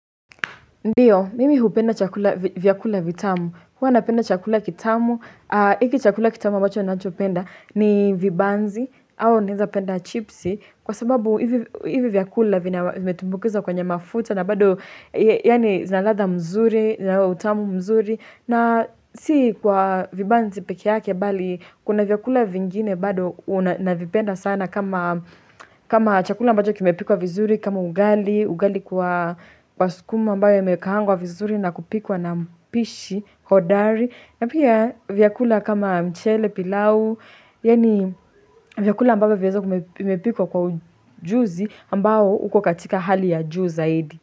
Ndiyo, mimi hupenda chakula, vyakula vitamu, huwa napenda chakula kitamu, hiki chakula kitamu mbacho ninancho penda ni vibanzi, au naweza penda chipsi, kwa sababu hivi vyakula vimetumbukizwa kwenye mafuta na bado, yani zina ladha mzuri, zina utamu mzuri, na si kwa vibanzi peke yake bali kuna vyakula vingine bado ninavipenda sana kama kama chakula mbacho kimepikuwa vizuri, kama ugali, ugali kwa kwa sukuma ambayo imekaangwa vizuri na kupikwa na mpishi hodari na pia vyakula kama mchele pilau yani vyakula ambavyo vimepikwa kwa ujuzi ambao uko katika hali ya juu zaidi.